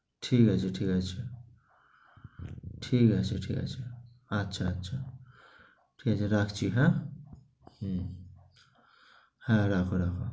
ঠিক আছে, ঠিক আছে। ঠিক আছে, ঠিক আছে। আচ্ছা আচ্ছা, তাইলে রাখছি, হ্যাঁ? হু রাখো রাখো।